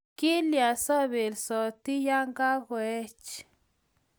kilyan so bolsoti ya kakuech?